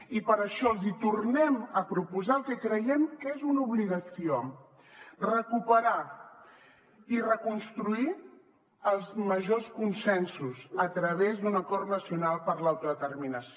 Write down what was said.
i per això els tornem a proposar el que creiem que és una obligació recuperar i reconstruir els majors consensos a través d’un acord nacional per l’autodeterminació